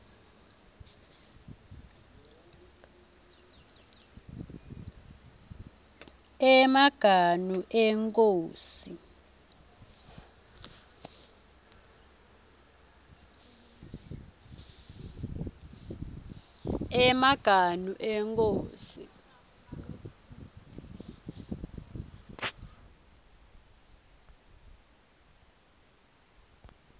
emaganu enkhosi